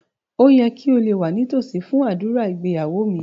Ó yẹ kí o wà nítòsí fún ádùrá ìgbéyàwó mi